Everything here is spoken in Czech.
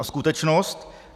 A skutečnost?